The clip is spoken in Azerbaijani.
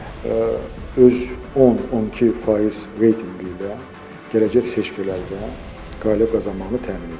öz 10-12% reytinqi ilə gələcək seçkilərdə qalib qazanmağını təmin edəcək.